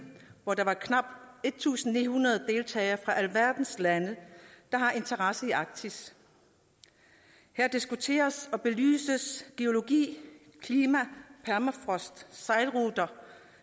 hvor der var knap en tusind ni hundrede deltagere fra alverdens lande der har interesse i arktis her diskuteres og belyses geologi klima permafrost